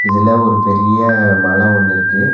இதுல ஒரு பெரிய மல ஒன்னிருக்கு.